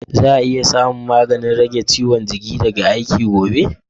za a iya samun min maganin rage ciwon jiki lokacin da za ku dawo daga aiki gobe?